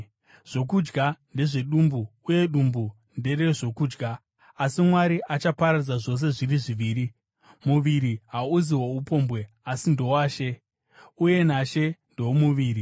Zvokudya ndezvedumbu uye dumbu nderezvokudya, asi Mwari achaparadza zvose zviri zviviri. Muviri hauzi woupombwe, asi ndowaShe, uye naShe ndewomuviri.